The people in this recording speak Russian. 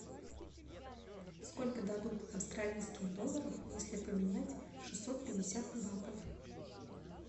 сколько дадут австралийских долларов если поменять шестьсот пятьдесят батов